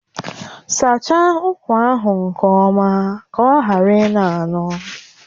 Sachaa ụkwa ahụ nke ọma ka ọ ghara ịnọ anọ!